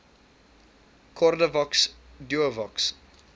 cordavox duovox